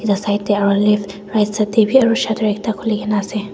la side de aro left right side de b shutter ekta khuli na ase.